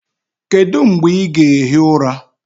Kedu mgbe ị ga-ehi ụra?